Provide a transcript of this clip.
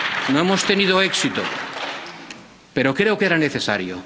No hemos tenido éxito. Pero creo que era necesario.